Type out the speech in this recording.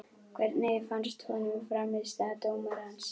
Hvernig fannst honum frammistaða dómarans?